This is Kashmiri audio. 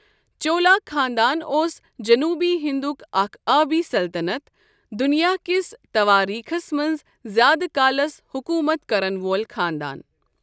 چولا خاندان اوس جنوبی ہِندُك اكھ آبی سلطنت، دُنِیاہ كِس تواریخس منز زیادٕ كالس حُكومت كرن وول خاندان ۔